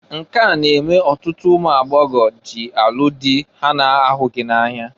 Nke a na-eme ọtụtụ ụmụagbọgọ jị alụ dị ha na-ahụghị na-anya.